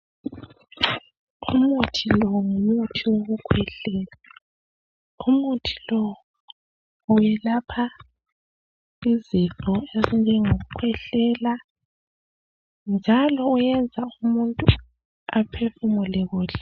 Umuthi lo ngumuthi wokukhwehlela umuthi lo uyelapha izifo ezinjengokukhwehlela njalo uyenza umuntu aphefumule kuhle.